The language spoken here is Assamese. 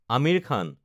আমিৰ খান